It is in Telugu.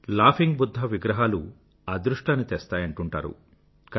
లాఫింగ్ బుధ్ధా విగ్రహాలు అదృష్టాన్ని తెస్తాయని అంటూంటారు